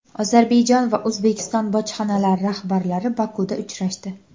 Ozarbayjon va O‘zbekiston bojxonalari rahbarlari Bokuda uchrashdi.